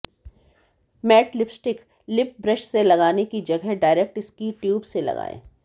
mat lipstick lip brush से लगाने की जगह डायरेक्ट इसकी ट्यूब से लगाएं